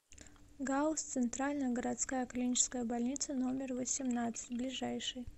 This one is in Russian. гауз центральная городская клиническая больница номер восемнадцать ближайший